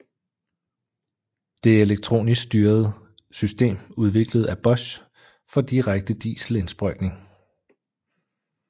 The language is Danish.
Det er elektronisk styret system udviklet af Bosch for direkte dieselindsprøjtning